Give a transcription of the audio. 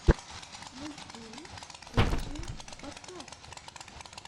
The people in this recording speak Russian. мультфильм куджи подкаст